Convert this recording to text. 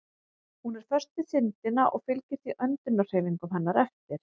Hún er föst við þindina og fylgir því öndunarhreyfingum hennar eftir.